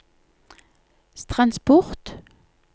transport